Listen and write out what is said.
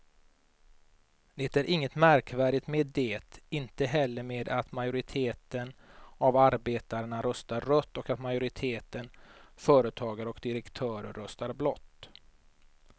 Det är inget märkvärdigt med det, inte heller med att majoriteten av arbetarna röstar rött och att majoriteten företagare och direktörer röstar blått.